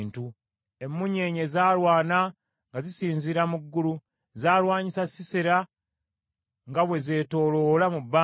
Emunyeenye zaalwana nga zisinziira mu ggulu, zaalwanyisa Sisera nga bwe zetoloola mu bbanga.